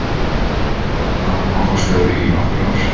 Að því loknu varð hann bankastjóri í nokkur ár.